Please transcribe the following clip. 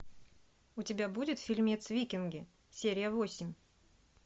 у тебя будет фильмец викинги серия восемь